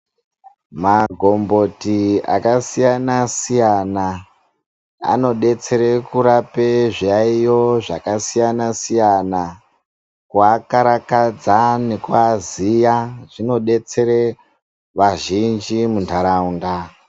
Magomboti akasiyana siyana anodetsera kurapa zviyayiyo zvakasiyana siyana kuvakarakadza nekuvaziya zvinodetsere vazhinji muntaraunda.